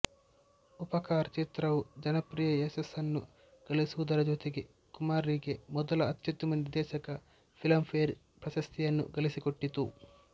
ಉಪಕಾರ್ ಚಿತ್ರವು ಜನಪ್ರಿಯ ಯಶಸ್ಸನ್ನು ಗಳಿಸುವುದರ ಜೊತೆಗೆ ಕುಮಾರ್ ಗೆ ಮೊದಲ ಅತ್ಯುತ್ತಮ ನಿರ್ದೇಶಕ ಫಿಲಂಫೇರ್ ಪ್ರಶಸ್ತಿಯನ್ನು ಗಳಿಸಿಕೊಟ್ಟಿತು